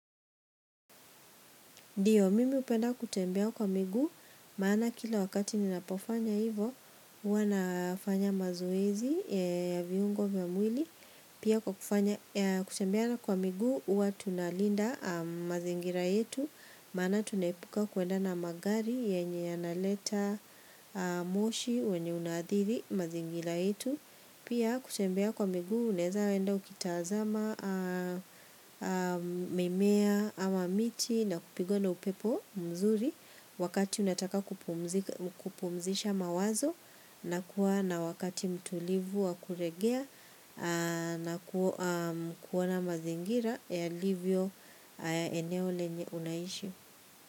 Dio, hupenda kutembea kwa migu, maana kila wakati ninapofanya hivo, huwanafanya mazoezi ya viungo vya mwili. Pia kutembea kwa miguu, huwa tunalinda mazingira yetu, maana tunaepuka kuenda na magari, yenye analeta moshi, wenye unaadhiri, mazingira yetu. Pia kutembea kwa miguu unaeza enda ukitaazama mimea ama miti na kupigwa na upepo mzuri Wakati unataka kupumzisha mawazo na kuwa wakati mtulivu wa kuregea na kuona mazingira yalivyo eneo lenye unaishi.